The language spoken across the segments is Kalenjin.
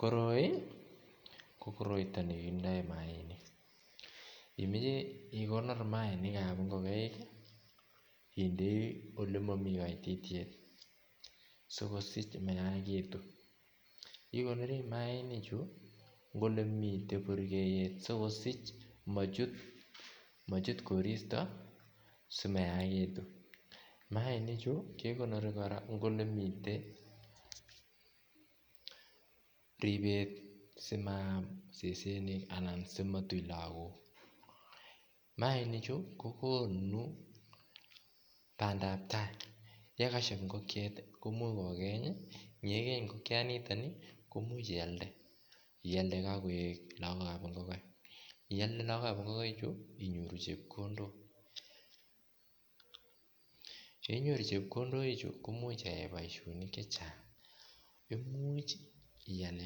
Koroi ko koroito negindoi mayainik gab ngokaik idei olemomi koitityet sikosich mayainik Chu ko ele miten burkeyet asimochut koristoi mainik Chu kekonori kora ribet simayam set Alan simatui lagok mainik Chu ko bandap tai yekashieb ngokiet kogeny ngekiniton koimuch iyalde iyalde log gab ngokaik kesiche chepkondok yeinyoru chepkondok chuton koimuch ayai boishonik chechang imuch iyal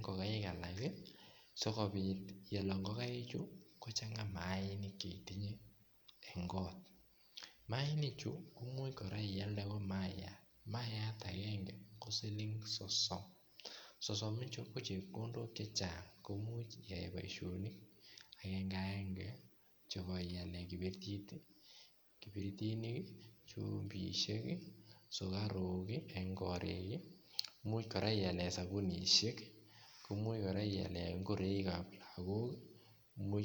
ngogaik alak sigopit yolog ngogaichu en kot imuch kora iyande mayat mayat agenge ko siling sosom sosom ichu ko rabishek chechang boishonik aengeaenge chemoiyoni imuch iyal kora sapunishek koimuch kora ako imuch